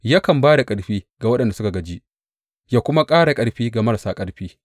Yakan ba da ƙarfi ga waɗanda suka gaji yă kuma ƙara ƙarfi ga marasa ƙarfi.